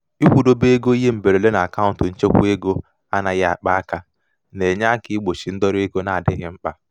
ịkwụdobe ego ihe mberede n'akaụnt nchekwaego anaghị akpa aka na-enye aka igbochi ndọrọ ego na-adịghị mkpa.